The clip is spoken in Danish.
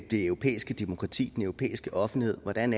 det europæiske demokrati den europæiske offentlighed hvordan